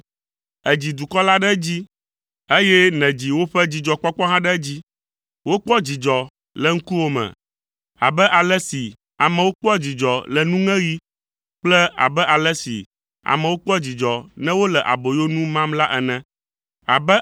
Èdzi dukɔ la ɖe edzi, eye nèdzi woƒe dzidzɔkpɔkpɔ hã ɖe edzi. Wokpɔ dzidzɔ le ŋkuwòme abe ale si amewo kpɔa dzidzɔ le nuŋeɣi kple abe ale si amewo kpɔa dzidzɔ ne wole aboyonu mam la ene.